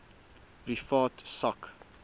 privaat sak